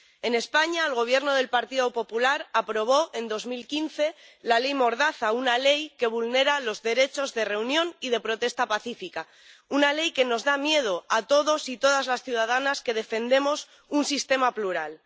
En España, el Gobierno del Partido Popular aprobó en 2015 la ley mordaza, una ley que vulnera los derechos de reunión y de protesta pacífica, una ley que nos da miedo a todos y todas las ciudadanas que defendemos un sistema plural.